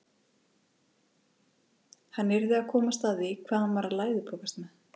Hann yrði að komast að því hvað hann var að læðupokast með.